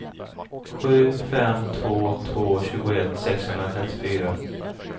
sju fem två två tjugoett sexhundratrettiofyra